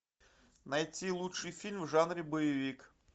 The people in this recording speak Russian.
найти лучшие фильмы в жанре боевик